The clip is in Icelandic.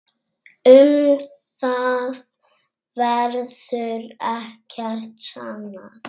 Um það verður ekkert sannað.